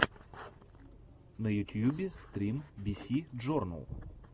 на ютьюбе стрим биси джорнал